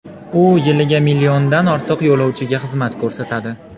U yiliga milliondan ortiq yo‘lovchiga xizmat ko‘rsatadi.